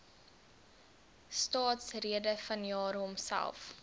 staatsrede vanjaar homself